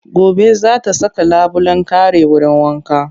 Gobe za ta saka labulen kare wurin wanka